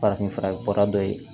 Farafinfura ye baara dɔ ye